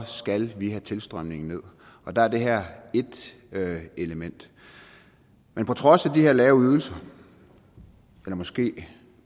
skal vi have tilstrømningen ned og der er det her ét element men på trods af de her lave ydelser eller måske